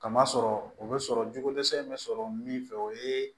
Kama sɔrɔ o bɛ sɔrɔ jugu dɛsɛ bɛ sɔrɔ min fɛ o ye